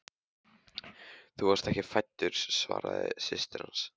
Þú varst ekki fæddur svaraði systir hans.